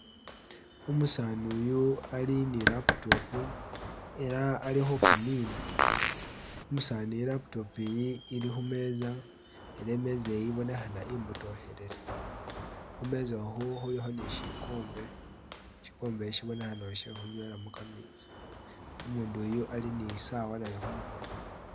Umusanu uyu ali ni laptop ela ali khukimiina umusani ilaptop iyi ili khumeetsa ela imeetsa iyi ibonekhana ibotokhelele khuneeza okhu khulikho ni shikhombe shikhombe shi shibonekhana she khunywelamo khameetsi umundu yu ali ni saawa naye khumukhono.